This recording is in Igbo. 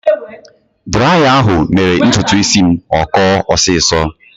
Draya ahụ mere ntutu isi m akọọ ọsiisọ.